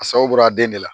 A sababu bɔra den de la